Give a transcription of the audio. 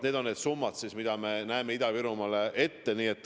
Need on need summad, mida me näeme Ida-Virumaale ette.